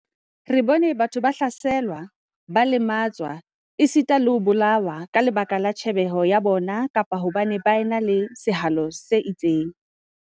Re bone batho ba hlaselwa, ba lematswa, esita le ho bolawa ka lebaka la tjhebahalo ya bona kapa hobane ba ena le sehalo se itseng.